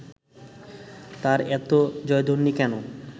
তার এত জয়ধ্বনি কেন